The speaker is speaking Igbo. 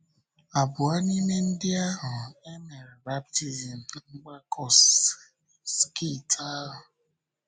Abụọ n’ime ndị ahụ e mere baptizim ná mgbakọ sekit ahụ.